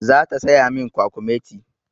Zata saya min kwakumeti.